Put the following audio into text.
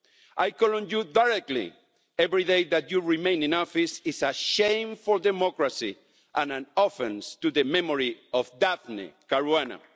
I call on you directly every day that you remain in office is a shame for democracy and an offence to the memory of Daphne Caruana.